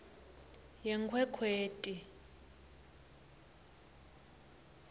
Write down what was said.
yenkhwekhweti